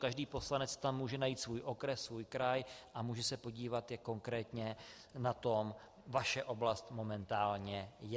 Každý poslanec tam může najít svůj okres, svůj kraj a může se podívat, jak konkrétně na tom vaše oblast momentálně je.